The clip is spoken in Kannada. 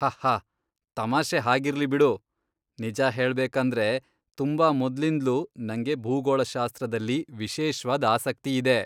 ಹಹ್ಹ.. ತಮಾಷೆ ಹಾಗಿರ್ಲಿ ಬಿಡು. ನಿಜ ಹೇಳ್ಬೇಕಂದ್ರೆ ತುಂಬಾ ಮೊದ್ಲಿಂದ್ಲೂ ನಂಗೆ ಭೂಗೋಳಶಾಸ್ತ್ರದಲ್ಲಿ ವಿಶೇಷ್ವಾದ್ ಆಸಕ್ತಿಯಿದೆ.